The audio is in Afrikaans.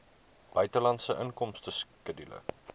buitelandse inkomste skedule